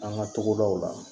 An ka togodaw la